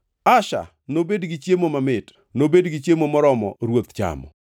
“Asher nobed gi chiemo mamit; nobed gi chiemo moromo ruoth chamo.